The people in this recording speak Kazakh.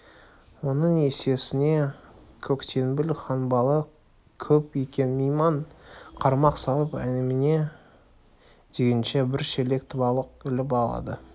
оның есесіне көктеңбіл ханбалық көп екен мейман қармақ салып әне-міне дегенше бір шелек балық іліп алды